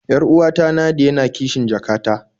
Yar'uwata Nadia na kishn jaka ta